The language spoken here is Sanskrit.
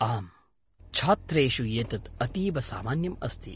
आम्, छात्रेषु एतत् अतीव सामान्यम् अस्ति।